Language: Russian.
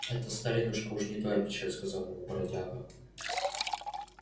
это старинушка уж не твоя печаль сказал мой бродяга